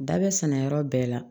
Da bɛ sɛnɛ yɔrɔ bɛɛ la